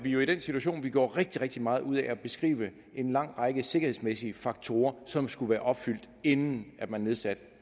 jo i den situation at vi gjorde rigtig rigtig meget ud af at beskrive en lang række sikkerhedsmæssige faktorer som skulle være opfyldt inden man nedsatte